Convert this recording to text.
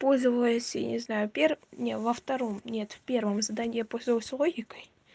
пользовалась я не знаю в первом не знаю во втором нет в первом задании пользовалась логикой